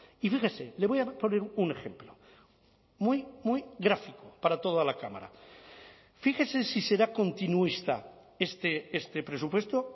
y fíjese le voy a poner un ejemplo muy muy gráfico para toda la cámara fíjese si será continuista este presupuesto